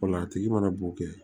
Ola a tigi mana b'o kɛ